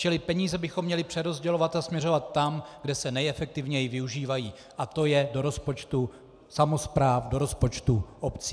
Čili peníze bychom měli přerozdělovat a směřovat tam, kde se nejefektivněji využívají, a to je do rozpočtu samospráv, do rozpočtu obcí.